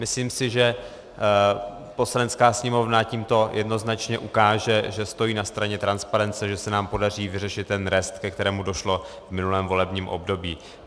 Myslím si, že Poslanecká sněmovna tímto jednoznačně ukáže, že stojí na straně transparence, že se nám podaří vyřešit ten rest, ke kterému došlo v minulém volebním období.